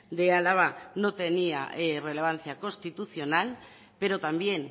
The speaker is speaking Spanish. de álava no tenía relevancia constitucional pero también